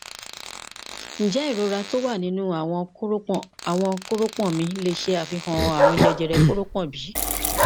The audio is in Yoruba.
njẹ irora ti o wa ninu awọn koropon awọn koropon mi le ṣe afihan arùn jẹjẹrẹ koropon bi